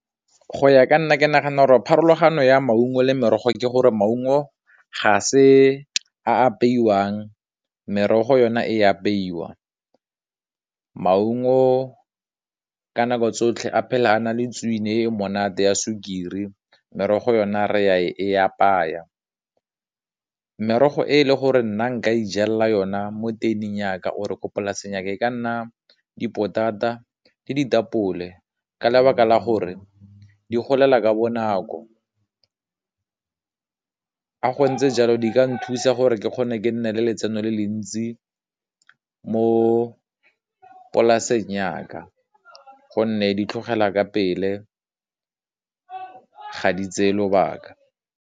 Go ya ka nna ke nagana gore pharologano ya maungo le merogo, ke gore maungo ga se a apeiwang, merogo yona e apeiwa, maungo ka nako tsotlhe a phela a na le tswina e monate ya sukiri, merogo yona re ya e apaya. Merogo e le gore nna nka ijalela yona mo yaka or-e mo polaseng ya me, e ka nna dipotata le ditapole ka lebaka la gore di golela ka bonako, fa go ntse jalo di ka nthusa gore ke kgone ke nne le le tseno le le ntsi mo polaseng yaka gonne di tlogela ka pele ga di tseye lobaka.